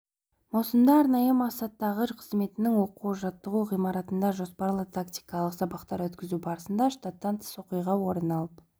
маусымда арнайы мақсаттағы қызметінің оқу-жаттығу ғимаратында жоспарлы тактикалық сабақтар өткізу барысында штаттан тыс оқиға орын алып